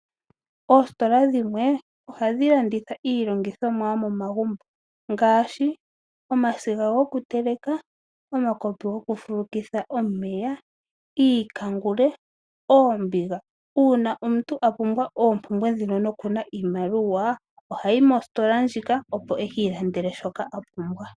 Oositola dhimwe ohadhi landitha iilandithomwa yomomagumbo ngaashi omasiga gokuteleka, omakopi gokufulukitha omeya, iikangule, oombiga. uuna omuntu a pumbwa oompumbwe nokuna iimaliwa ohayi mositola ndjika opo eki ilandele shoka apumbwa